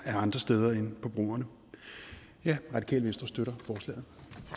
af andre steder end på brugerne radikale venstre støtter forslaget